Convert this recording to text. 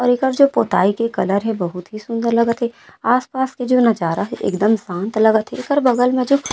और एकर जो पोताई के कलर हे बहुत ही सुन्दर लगत हे आस पास के जो नजारा है एकदम शांत लगत है एकर बगल में जो --